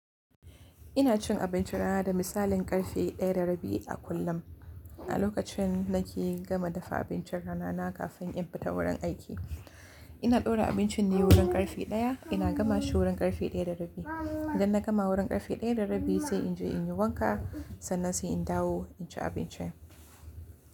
Ina cin abincin rana da misalin karfe 1:30 a kullum. A lokacin nake gama dafa abincin da rana kafin in fita wurin aiki. Ina ɗaura abincin ne wurin karfe ɗaya, ina gamashi wurin karfe ɗaya da rabi. Idan na gama wurin karfe ɗaya da rabi sai in je in yi wanka sannan sai in dawo in ci abinci.